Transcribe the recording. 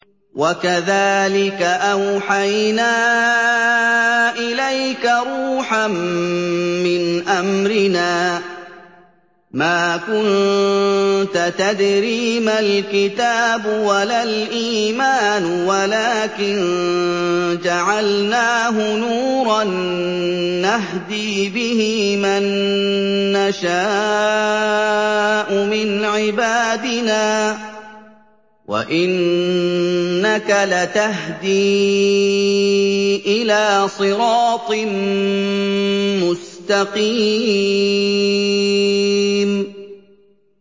وَكَذَٰلِكَ أَوْحَيْنَا إِلَيْكَ رُوحًا مِّنْ أَمْرِنَا ۚ مَا كُنتَ تَدْرِي مَا الْكِتَابُ وَلَا الْإِيمَانُ وَلَٰكِن جَعَلْنَاهُ نُورًا نَّهْدِي بِهِ مَن نَّشَاءُ مِنْ عِبَادِنَا ۚ وَإِنَّكَ لَتَهْدِي إِلَىٰ صِرَاطٍ مُّسْتَقِيمٍ